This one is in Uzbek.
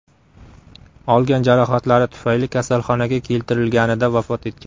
olgan jarohatlari tufayli kasalxonaga keltirilganida vafot etgan.